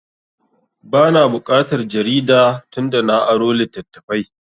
Ba na buƙatar jarida tun da na aro littattafai